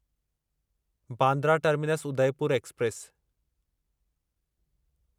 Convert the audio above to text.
Bandra terminus Udaipur express